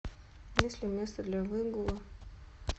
есть ли место для выгула